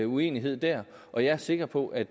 uenighed der og jeg er sikker på at